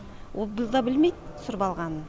ол бұл да білмейт түсіріп алғанын